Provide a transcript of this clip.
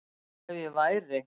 Ef ég væri